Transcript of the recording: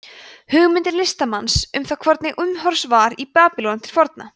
hugmynd listamanns um það hvernig umhorfs var í babýlon til forna